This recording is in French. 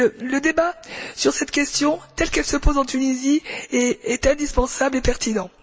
Le débat sur cette question, telle qu'elle se pose en Tunisie, est indispensable et pertinent.